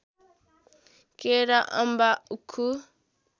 केरा अम्बा उखु